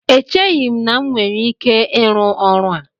Echeghị m na m nwere ike ịrụ ọrụ a